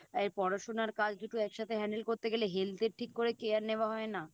এই পড়াশোনা আর কাজ দুটো একসঙ্গে Handle করতে গেলে Health এর ঠিক করে Care নেওয়া হয় না